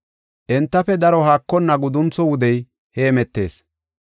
Entafe daro haakonna guduntho wudey hemetees.